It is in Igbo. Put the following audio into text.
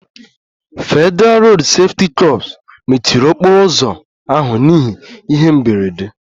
Federalụ Rodu Sefuti kor mechiri okporo ụzọ ahụ n'ihi ihe mberede